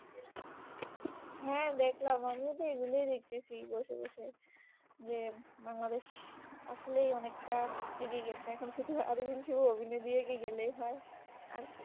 হ্যাঁ দেখলাম আমিও এগুলোই দেখতেছি বসে বসে, যে বাংলাদেশ আসলেই অনেকটা এগিয়ে গিয়েছে এখন শুধু আরোবিংশ অভিনয় দিয়ে গেলেই হয় আর কি ?